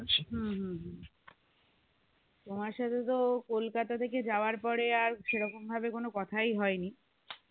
তোমার সাথে তো কলকাতা থেকে যাওয়ার পরে আর সেরকম ভাবে কোন কথাই হয়নি